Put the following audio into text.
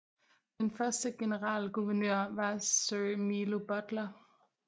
Den første generalguvernør var Sir Milo Butler